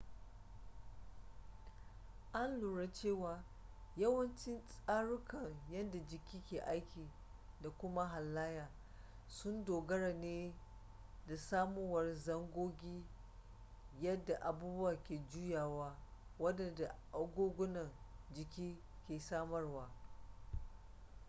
an lura cewa yawancin tsarukan yadda jiki ke aiki da kuma halayya sun dogara ne da samuwar zangogi yadda abubuwa ke juyawa wadanda agogunan jiki ke samarwa